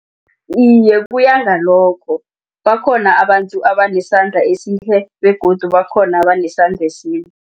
Iye, kuyangalokho bakhona abantu abanesandla esihle begodu bakhona abanesandla esimbi.